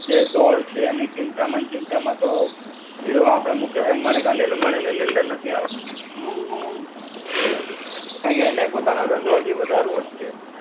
જે દોડ છે એની ચિંતામાં ને ચિંતામાં તો આપડા મુકેશ અંબાણી કે અનિલ અંબાણી એ નિંદર નથી આવતી. કારણકે એને પોતાનો ધંધો અજી વધારવો જ છે.